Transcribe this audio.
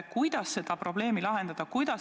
Kuidas seda probleemi lahendada?